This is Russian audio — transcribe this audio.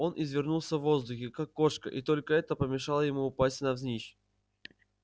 он извернулся в воздухе как кошка и только это помешало ему упасть навзничь